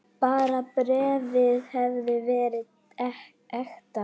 Bara bréfið hefði verið ekta!